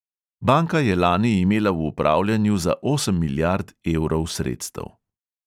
Banka je lani imela v upravljanju za osem milijard evrov sredstev.